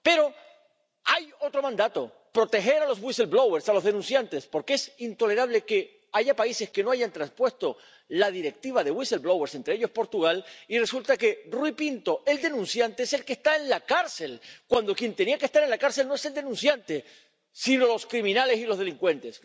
Pero hay otro mandato proteger a los whistleblowers —a los denunciantes—, porque es intolerable que haya países que no han traspuesto la Directiva sobre los whistleblowers —entre ellos, Portugal—, y resulta que Rui Pinto, el denunciante, es el que está en la cárcel, cuando quien tenía que estar en la cárcel no es el denunciante, sino los criminales y los delincuentes.